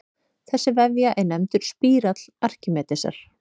Þessi vefja er nefndur spírall Arkímedesar.